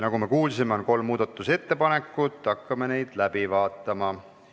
Nagu me kuulsime, on esitatud kolm muudatusettepanekut, hakkame neid läbi vaatama.